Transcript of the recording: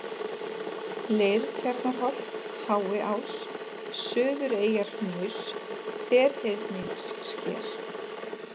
Leirtjarnarholt, Háiás, Suðureyjarhnaus, Ferhyrningssker